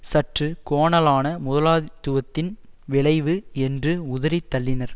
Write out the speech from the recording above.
சற்று கோணலான முதலாளித்துவத்தின் விளைவு என்று உதறி தள்ளினர்